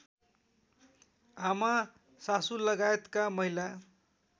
आमा सासूलगायतका महिला